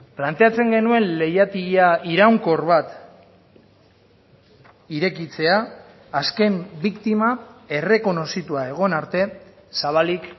planteatzen genuen leihatila iraunkor bat irekitzea azken biktima errekonozitua egon arte zabalik